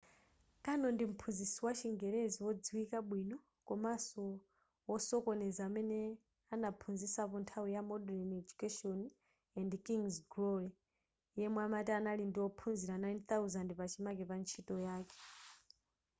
karno ndi mphunzitsi wa chingelezi wodziwika bwino komanso wosokoneza amene anaphunzitsapo nthawi ya modern education and king's glory yemwe amati anali ndi ophunzira 9,000 pachimake pa ntchito yake